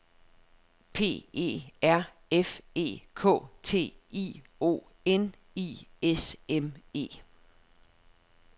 P E R F E K T I O N I S M E